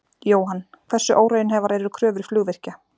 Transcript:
Jóhann: Hversu óraunhæfar eru kröfur flugvirkja?